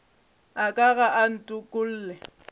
a ka ga a ntokolle